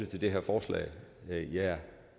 til det her forslag jeg